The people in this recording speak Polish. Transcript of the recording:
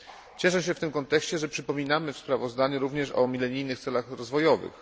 Cieszę się w tym kontekście, że przypominamy w sprawozdaniu również o milenijnych celach rozwojowych.